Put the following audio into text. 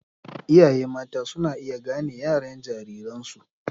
Iyaye mata suna iya gane yaren jariransu